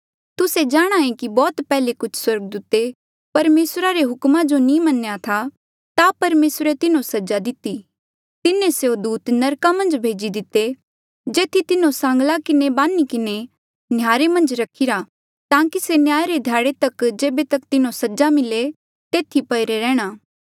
तुस्से जाणांहे कि बौह्त पैहले कुछ स्वर्गदूते परमेसरा रे हुक्मा जो नी मन्नेया था ता परमेसरे तिन्हो सजा दिति तिन्हें स्यों दूत नरका मन्झ भेजी दिते जेथी तिन्हो सांगला किन्हें बान्ही किन्हें नह्यारे मन्झ रखीरा ताकि से न्याय रे ध्याड़े तक जेबे तक तिन्हो सजा मिले तेथी पईरे रेहणा